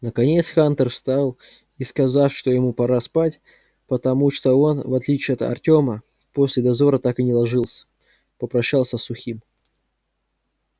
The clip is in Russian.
наконец хантер встал и сказав что ему пора спать потому что он в отличие от артёма после дозора так и не ложился попрощался с сухим